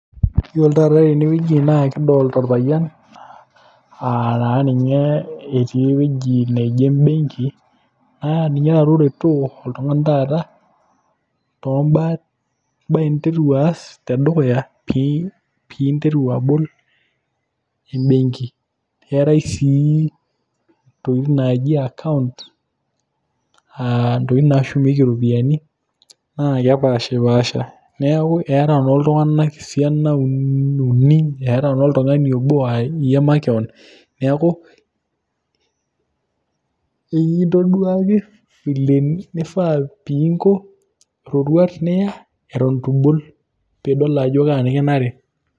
Iyiolo taata tene wueji kidolta orpayian etii ewueji neji embenki naa ninye taata oretoo iltung'anak taata too mbaa ninteru aas te dukuya piinteru abol embenki. Keetai sii ntokitin naaji akaunt aa ntokitin nashumieki ropiani naa kepaashipaasha. Neeku eeta naa iltung'anak esianan uni, eeta ng'ole oltung'ani obo iyie makeon, neeku kekintoduaki vile nifaa piinko, roruat niya eton itu ibol piidol ajo kaa nekinare.